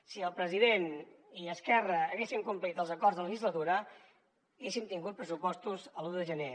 si el president i esquerra haguessin complert els acords de legislatura haguéssim tingut pressupostos l’un de gener